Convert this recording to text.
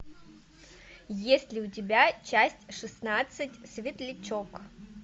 есть ли у тебя часть шестнадцать светлячок